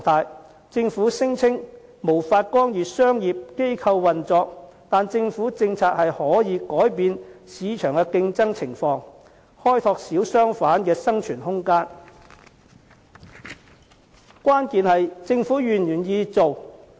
雖然政府聲稱無法干預商業機構運作，但政府是可以透過政策改變市場的競爭情況，為小商販開拓生存空間，關鍵在於政府是否願意做。